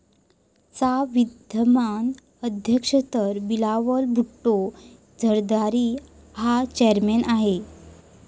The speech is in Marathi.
चा विद्यमान अध्यक्ष तर बिलावल भुट्टो झरदारी हा चेयरमन आहे.